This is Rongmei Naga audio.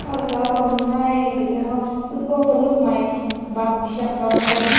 baw zakawn nai dedeho football palup mei bam kishap lao na bam meh.